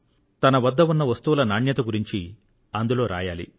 తన వద్ద ఉన్న వస్తువుల క్వాలిటీ గురించి అందులో రాయాలి